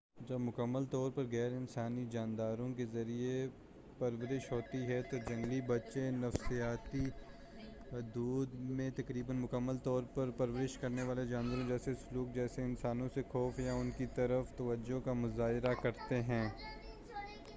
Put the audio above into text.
جب مکمل طور پر غیر انسانی جانداروں کے ذریعے پرورش ہوتی ہے تو جنگلی بچے نفسیاتی حدود میں تقریبا مکمل طور پر پرورش کرنے والے جانوروں جیسے سلوک جیسے انسانوں سے خوف یا ان کی طرف بے توجہی کا مظاہرہ کرتے ہیں۔